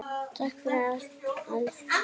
Takk fyrir allt, elsku systir.